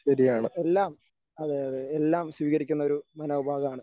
എല്ലാം അതെ അതെ എല്ലാം സ്വീകരിക്കുന്ന ഒരു മനോഭാവമാണ്.